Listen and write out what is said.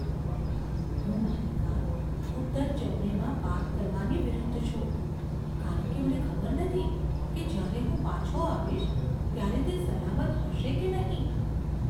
હું મારી કાર ઉત્તર ચેન્નાઈમાં પાર્ક કરવાની વિરુદ્ધ છું કારણ કે મને ખબર નથી કે જ્યારે હું પાછો આવીશ ત્યારે તે સલામત હશે કે નહીં.